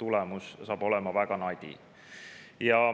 tulemus saab olema väga nadi.